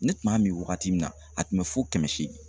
Ne tun b'a min wagati min na a tun bɛ fo kɛmɛ seegin